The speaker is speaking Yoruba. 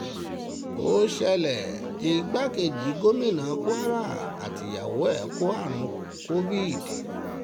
ó ṣẹlẹ̀ igbákejì gómìnà kwara àtìyàwó ẹ̀ kó àrùn covid